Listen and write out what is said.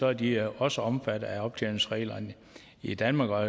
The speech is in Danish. er de også omfattet af optjeningsreglerne i danmark og